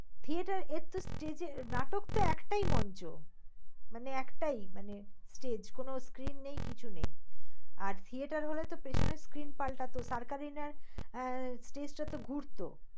theater এক তো stage এ নাটক তো একটায় মঞ্চ। মানে একটায় মানে stage কোন screen নেই কিছু নেই। আর theater হল পেছনের screen পাল্টাত এর stage টা তো ঘুরত।